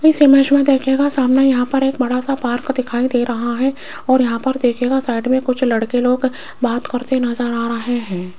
इस इमेज मे देखिएगा सामने यहां पर एक बड़ा सा पार्क दिखाई दे रहा है और यहां पर देखियेगा साइड मे कुछ लड़के लोग बात करते नज़र आ रहे है।